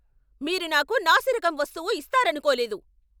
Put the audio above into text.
మీరు నాకు నాసిరకం వస్తువు ఇస్తారనుకోలేదు.